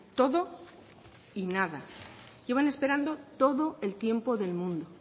todo y nada llevan esperando todo el tiempo del mundo